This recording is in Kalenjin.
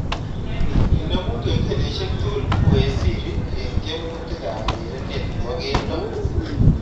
Inemu kengeleshek tugul we Siri eng tyemutikab urerenet nebo keldo